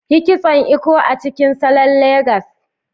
Yi Kitson Eko a cikin salon Legas.